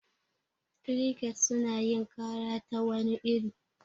Kirikets suna yin kara ta wani iri.